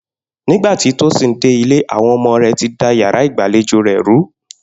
Nígbà tí Tósìn dé ilé, àwo̩n o̩mo̩ rè̩ ti da yàrá ìgbàlejò rè̩ rú